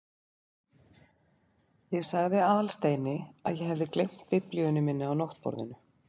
Ég sagði Aðalsteini að ég hefði gleymt biblíunni minni á náttborðinu.